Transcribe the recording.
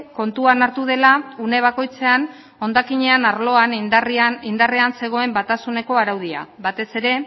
kontuan hartu dela une bakoitzean hondakinen arloa indarrean zegoen batasuneko araudia batez ere